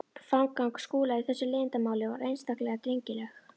Framganga Skúla í þessu leiðindamáli var einstaklega drengileg.